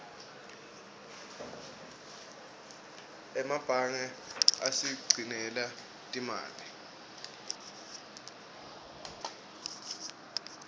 emebange asigcinela timali